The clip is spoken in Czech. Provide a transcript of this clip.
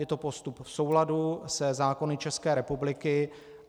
Je to postup v souladu se zákony České republiky.